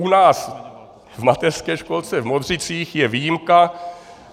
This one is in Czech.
U nás v mateřské školce v Modřicích je výjimka.